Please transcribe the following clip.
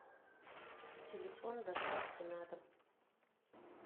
телефон доставки на дом